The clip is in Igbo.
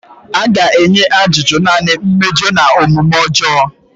A ga-enye ajụjụ naanị mmejọ na omume ọjọọ.